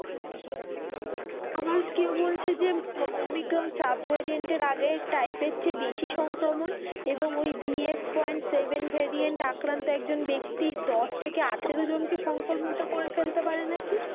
আবার কেউ বলছে যে ওমিক্রন সাব ভ্যারিয়েন্ট এর আগের type এর চেয়ে বেশি সংক্রমণ এবং ঐ B F point seven variant আক্রান্ত একজন ব্যক্তি দশ থেকে আঠারো জনকে সংক্রমিত করে ফেলতে পারে নাকি?